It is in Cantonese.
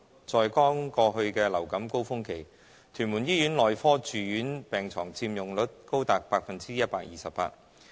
在剛過去的流感高峰期，屯門醫院內科住院病床佔用率高達百分之一百二十八。